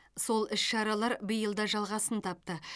сол іс шаралар биыл да жалғасын тапты